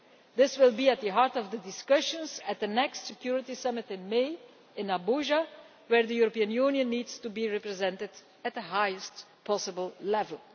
This will be at the heart of the discussions at the next Security Summit in Abuja in May, at which the European Union needs to be represented at the highest possible level.